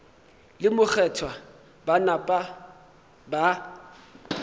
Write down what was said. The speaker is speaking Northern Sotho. le mokgethwa ba napa ba